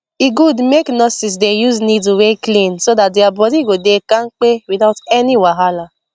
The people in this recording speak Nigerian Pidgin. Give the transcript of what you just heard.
e good make nurses dey use needle wey clean so that their body go dey kampe without any wahala